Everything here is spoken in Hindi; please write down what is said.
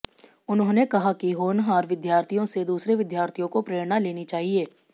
उन्होंने कहा कि होनहार विद्यार्थियों से दूसरे विद्यार्थियों को प्रेरणा लेनी चाहिए